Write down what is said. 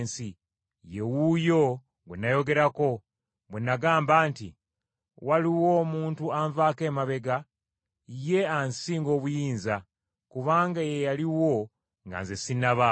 Ye wuuyo gwe nayogerako, bwe nagamba nti, ‘Waliwo omuntu anvaako emabega ye ansinga obuyinza, kubanga ye yaliwo nga nze sinnabaawo.’